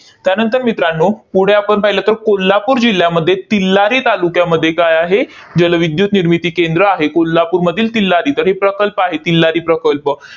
त्यानंतर मित्रांनो, पुढे आपण पाहिलं तर, कोल्हापूर जिल्ह्यामध्ये तिल्लारी तालुक्यामध्ये काय आहे? जलविद्युत निर्मिती केंद्र आहे. कोल्हापूरमधील तिल्लारी. तर हे प्रकल्प आहे, तिल्लारी प्रकल्प.